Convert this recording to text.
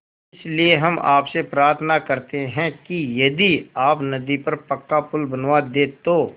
इसलिए हम आपसे प्रार्थना करते हैं कि यदि आप नदी पर पक्का पुल बनवा दे तो